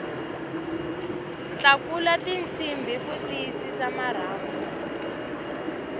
tlakula tinsimbhi ku tiyisisa marhambu